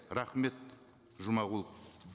рахмет жұмағұлов